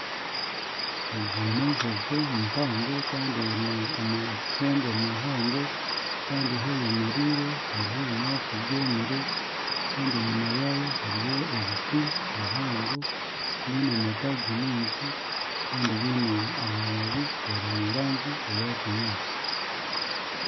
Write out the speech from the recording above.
Egi n'enjojo mpango kandi eine amahembe mahango kandi ahu eyemereire hariho ebinyaatsi byomire kandi enyuma yaayo hariyo ebiti bihango biine amataagi maingi kandi biine amababi gari omurangi eya kinyaatsi.